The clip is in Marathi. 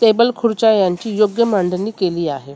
टेबल खुर्च्या यांची योग्य मांडणी केली आहे.